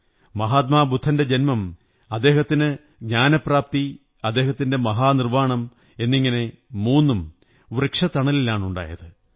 മഹാത്മാ ബുദ്ധന്റെ ജന്മം അദ്ദേഹത്തിനു ജ്ഞാനപ്രാപ്തി അദ്ദേഹത്തിന്റെ മഹാനിര്വ്വാനണം എന്നിങ്ങനെ മൂന്നും വൃക്ഷത്തണലിലാണുണ്ടായത്